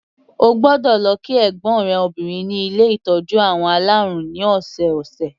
O gbọ́dọ̀ lọ kí ẹ̀gbọ́n rẹ obìnrin ní ilé ìtọ́jú àwọn alárùn ní ọ̀sọ̀ọ̀sẹ̀.